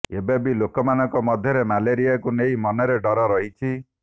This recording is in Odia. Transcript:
ଏବେ ବି ଲୋକମାନଙ୍କ ମଧ୍ୟରେ ମ୍ୟାଲେରିଆକୁ ନେଇ ମନରେ ଡ଼ର ରହିଛି